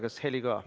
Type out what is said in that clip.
Kas heli ka?